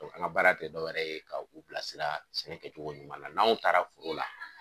ŋa baara te dɔ wɛrɛ ye ka u bilasira sɛnɛ kɛcogo ɲuman na n'anw taara foro la